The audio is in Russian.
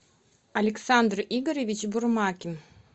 александр игоревич бурмакин